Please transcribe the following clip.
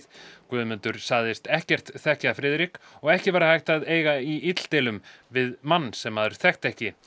Guðmundur sagðist ekkert þekkja Friðrik og ekki væri hægt að eiga í illdeilum við mann sem maður þekkti ekki